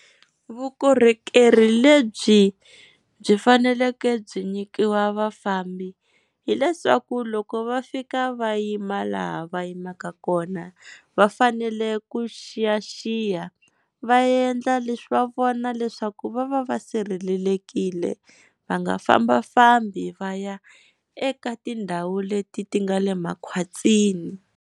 Vukorhokeri lebyi byi faneleke byi nyikiwa vafambi, hileswaku loko va fika va yima laha va yimaka kona, va fanele ku xiyaxiya va endla leswi va vona leswaku va va va sirhelelekile va nga fambafambi va ya eka tindhawu leti ti nga le makhwatini.